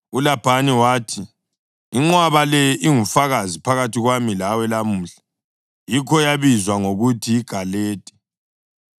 ULabhani wathi, “Inqwaba le ingufakazi phakathi kwami lawe lamuhla.” Yikho yabizwa ngokuthi yiGaledi.